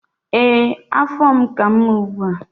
Ee, afọ m ka mma ugbu a.